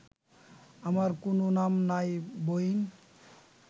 আমার কুনো নাম নাই বইন